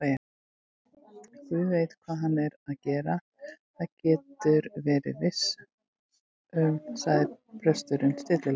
Guð veit hvað hann er að gera, það geturðu verið viss um- sagði presturinn stillilega.